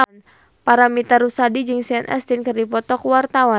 Paramitha Rusady jeung Sean Astin keur dipoto ku wartawan